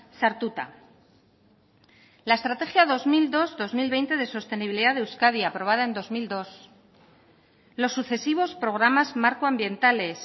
sartuta la estrategia dos mil dos dos mil veinte de sostenibilidad de euskadi aprobada en dos mil dos los sucesivos programas marcoambientales